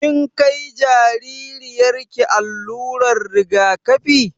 Kin kai jaririyar ki allurar rigakafi?